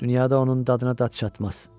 Dünyada onun dadına dad çatmaz.